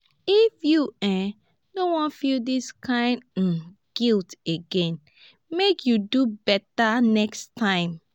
if you um no wan feel dis kain um guilt again make you do beta next time.